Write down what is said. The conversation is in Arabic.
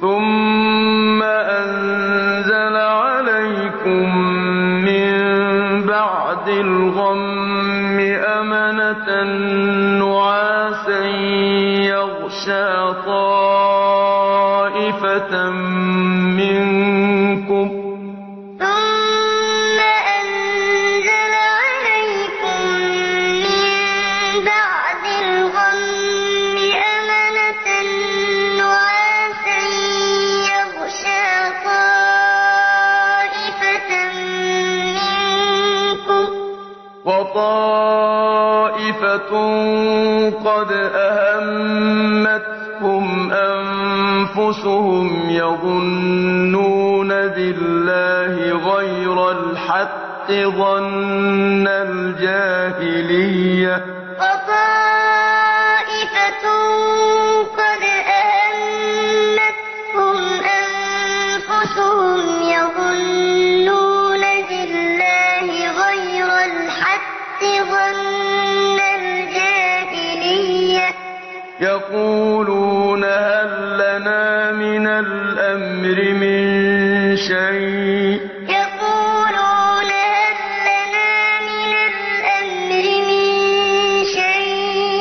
ثُمَّ أَنزَلَ عَلَيْكُم مِّن بَعْدِ الْغَمِّ أَمَنَةً نُّعَاسًا يَغْشَىٰ طَائِفَةً مِّنكُمْ ۖ وَطَائِفَةٌ قَدْ أَهَمَّتْهُمْ أَنفُسُهُمْ يَظُنُّونَ بِاللَّهِ غَيْرَ الْحَقِّ ظَنَّ الْجَاهِلِيَّةِ ۖ يَقُولُونَ هَل لَّنَا مِنَ الْأَمْرِ مِن شَيْءٍ